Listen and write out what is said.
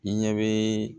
I ɲɛ bɛ